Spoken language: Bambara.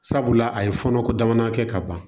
Sabula a ye fɔɔnɔ ko dama kɛ ka ban